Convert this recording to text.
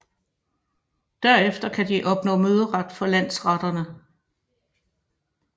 Derefter kan de opnå møderet for landsretterne